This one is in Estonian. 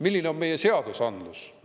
Milline on meie seadusandlus?